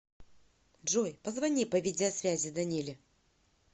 джой позвони по видеосвязи даниле